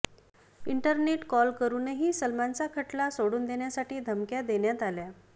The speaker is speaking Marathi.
इंटरनेट कॉल करुनही सलमानचा खटला सोडून देण्यासाठी धमक्या देण्यात आल्या